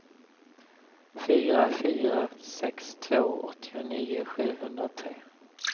fyra fyra sex två åttionio sjuhundratre